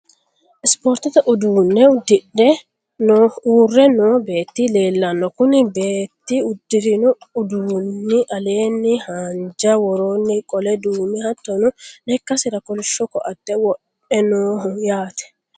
ispoortete uduunne uddire uurre noo beetti leelanno, kuni beetti uddirino uduunni aleenni haanja woroonni qole duume httono lekkasira kolishsho koatte wodhinoho yaate.